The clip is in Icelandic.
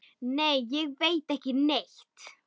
Nei, ég veit ekki neitt.